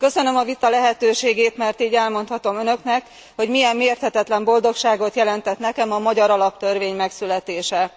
Köszönöm a vita lehetőségét, mert így elmondhatom önöknek, hogy milyen mérhetetlen boldogságot jelentett nekem a magyar alaptörvény megszületése.